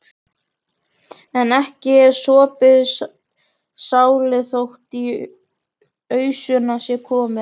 En ekki er sopið kálið þótt í ausuna sé komið.